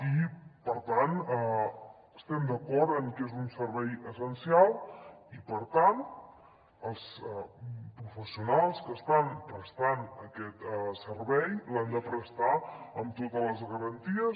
i per tant estem d’acord amb que és un servei essencial i per tant els professionals que estan prestant aquest servei l’han de prestar amb totes les garanties